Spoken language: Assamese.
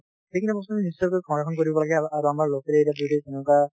সেইখিনি বস্তু আমি নিশ্চয় কৈ সংৰক্ষণ কৰিব লাগে আৰু আৰু আমাৰ local area ত যদি তেনেকুৱা